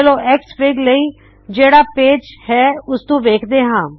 ਚਲੋ ਐਕਸਐਫਆਈਜੀ ਲਈ ਜਿਹੜਾ ਪੇਜ ਹੈ ਉਸਨੂੰ ਵੇਖਦੇ ਹਾ